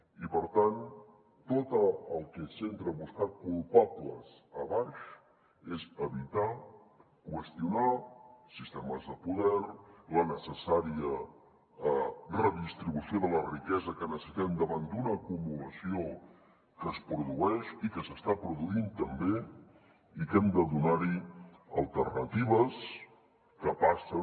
i per tant tot el que es centra en buscar culpables a baix és evitar qüestionar sistemes de poder la necessària redistribució de la riquesa que necessitem davant d’una acumulació que es produeix i que s’està produint també i que hem de donar hi alternatives que passen